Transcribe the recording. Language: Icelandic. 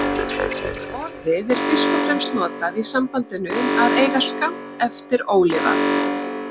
Orðið er fyrst og fremst notað í sambandinu að eiga skammt eftir ólifað.